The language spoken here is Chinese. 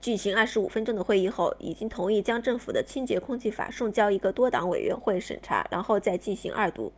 举行25分钟的会议后已经同意将政府的清洁空气法送交一个多党委员会审查然后再进行二读